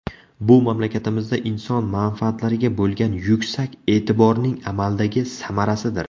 Bu mamlakatimizda inson manfaatlariga bo‘lgan yuksak e’tiborning amaldagi samarasidir.